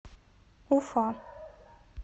уфа